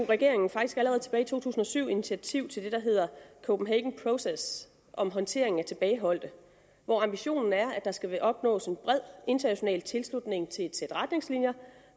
regeringen faktisk allerede tilbage i to tusind og syv tog initiativ til det der hedder copenhagen process om håndtering af tilbageholdte hvor ambitionen er at der skal opnås en bred international tilslutning til et sæt retningslinjer